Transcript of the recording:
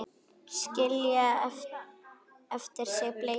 Skilja eftir sig bleytu.